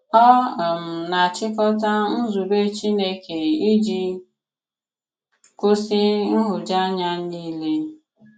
Ọ um na-àchikota nzùbè Chìnékè iji kwụsị nhụjuanya niile.